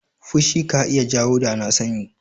Fushi ka iya jawo danasani.